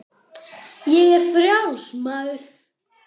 Ég er frjáls maður!